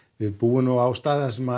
við búum á stað þar sem